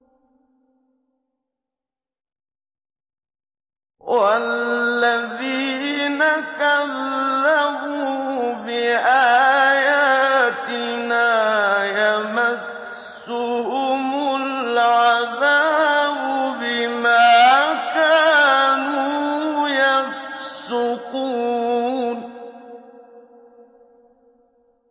وَالَّذِينَ كَذَّبُوا بِآيَاتِنَا يَمَسُّهُمُ الْعَذَابُ بِمَا كَانُوا يَفْسُقُونَ